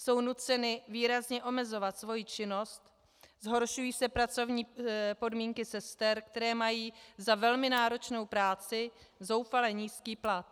Jsou nuceny výrazně omezovat svoji činnost, zhoršují se pracovní podmínky sester, které mají za velmi náročnou práci zoufale nízký plat.